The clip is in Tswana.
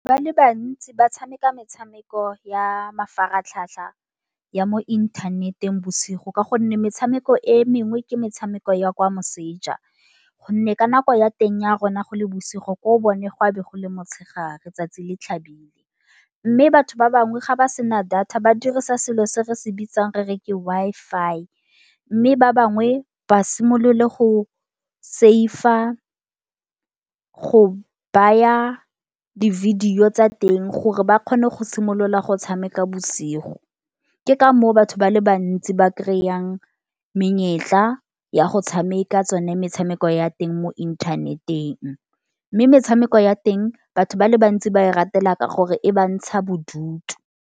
Ba le bantsi ba tshameka metshameko ya mafaratlhatlha, ya mo inthanet-eng bosigo ka gonne metshameko e mengwe ke metshameko ya kwa moseja. Gonne ka nako ya teng ya rona go le bosigo, ko bone gwa be bo gole motshegare, tsatsi le tlhabile. Mme batho ba bangwe ga ba sena data ba dirisa selo se re se bitsang re re ke Wi-Fi mme ba bangwe basimolole go save-a go baya di-video tsa teng gore ba kgone go simolola go tshameka bosigo. Ke ka moo batho ba le bantsi ba kry-ang menyetla ya go tshameka tsone metshameko ya teng mo inthanet-eng. Mme metshameko ya teng batho ba le bantsi ba e ratela ka gore e ba ntsha bodutu.